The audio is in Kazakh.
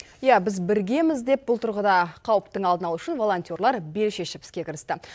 иә біз біргеміз деп бұл тұрғыда қауіптің алдын алу үшін волонтерлар бел шешіп іске кірісті